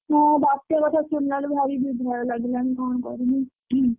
ହଁ ବାତ୍ୟା କଥା ଶୁଣିଲାବେଳକୁ ଭାରି ବି ଭୟ ଲାଗିଲାଣି କଣ କରିମି।